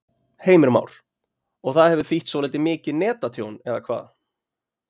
Heimir Már: Og það hefur þýtt svolítið mikið netatjón, eða hvað?